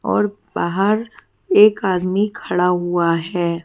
और बाहर एक आदमी खड़ा हुआ है।